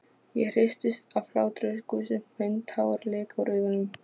Ég hristist af hláturgusum, finn tár leka úr augunum.